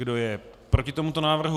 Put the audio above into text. Kdo je proti tomuto návrhu?